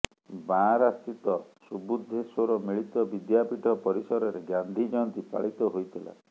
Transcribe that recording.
ବାଆଁରାସ୍ଥିତ ସୁବୁଦ୍ଧେଶ୍ୱର ମିଳିତ ବିଦ୍ୟାପୀଠ ପରିସରରେ ଗାନ୍ଧୀ ଜୟନ୍ତୀ ପାଳିତ ହୋଇଥିଲା